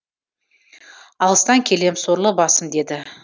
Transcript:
алыстан келем сорлы басым деді